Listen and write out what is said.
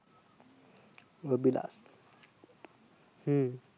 Abhilash হু